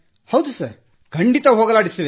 ಹೌದು ಸರ್ ಖಂಡಿತ ಹೋಗಲಾಡಿಸುವೆ